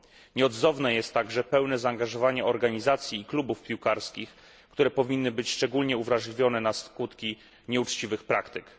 Nieodzowne jest także pełne zaangażowanie organizacji i klubów piłkarskich, które powinny być szczególnie uwrażliwione na skutki nieuczciwych praktyk.